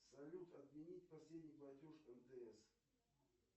салют отменить последний платеж мтс